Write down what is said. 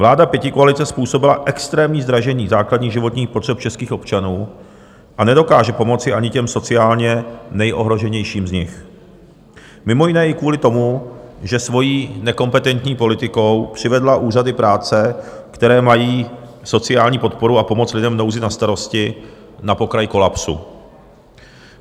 Vláda pětikoalice způsobila extrémní zdražení základních životních potřeb českých občanů a nedokáže pomoci ani těm sociálně nejohroženějším z nich, mimo jiné i kvůli tomu, že svojí nekompetentní politikou přivedla úřady práce, které mají sociální podporu a pomoc lidem v nouzi na starosti, na pokraj kolapsu.